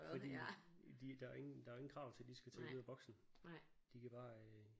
Fordi de der er ingen der er ingen krav til at de skal tænke ud af boksen. De kan bare